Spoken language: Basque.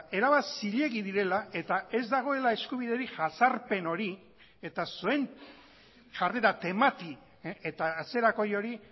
erabat zilegi direla eta ez dagoela eskubiderik jazarpen hori eta zuen jarrera temati eta atzerakoi hori